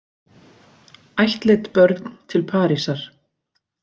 Ættleidd börn til Parísar